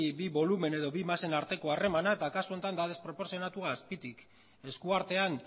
bi bolumen edo bi masen arteko harremana eta kasu honetan da desproportzionatua azpitik eskuartean